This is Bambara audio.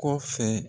Kɔfɛ